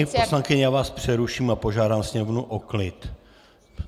Paní poslankyně, já vás přeruším a požádám Sněmovnu o klid.